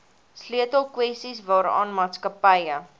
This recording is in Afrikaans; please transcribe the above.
sleutelkwessies waaraan maatskappye